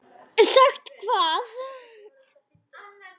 Sagt hvað?